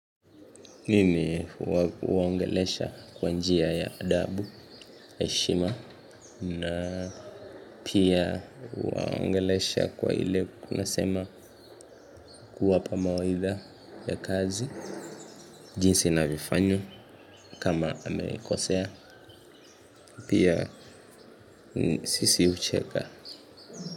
Mimi waangelesha kwa njia ya adabu heshima na pia waangelesha kwa ile kuna sema kuwapa mawaitha ya kazi. Jinsi navyofanya kama amekosea pia sisi ucheka.